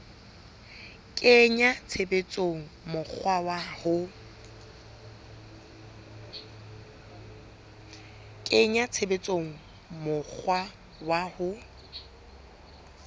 kenya tshebetsong mokgwa wa ho